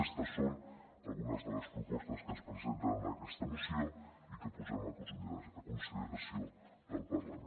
aquestes són algunes de les propostes que es presenten en aquesta moció i que posem a consideració del parlament